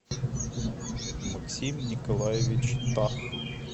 максим николаевич тах